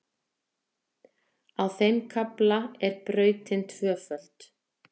Á þeim kafla er brautin tvöföld